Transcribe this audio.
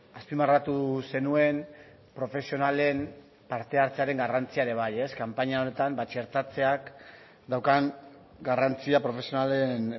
azpimarratu zenuen profesionalen parte hartzearen garrantzia ere bai ez kanpaina honetan txertatzeak daukan garrantzia profesionalen